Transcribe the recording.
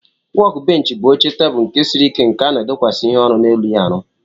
Wọk bench bu oche teblu nke siri ike nke ana edokwasi ihe orụ na elu ya arụ.